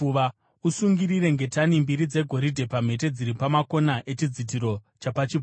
Usungirire ngetani mbiri dzegoridhe pamhete dziri pamakona echidzitiro chapachipfuva,